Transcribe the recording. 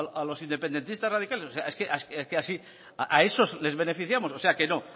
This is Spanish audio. a los independentistas radicales es que así a esos les beneficiamos o sea que no